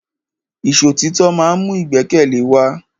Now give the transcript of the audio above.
Ìṣọ̀títọ́ ma ń mú ìgbẹ́kẹ̀lé wa.